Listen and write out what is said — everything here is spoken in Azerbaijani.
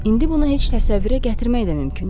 İndi bunu heç təsəvvürə gətirmək də mümkün deyil.